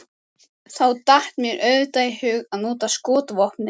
Þá datt mér auðvitað í hug að nota skotvopnið.